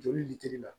Joli litiri la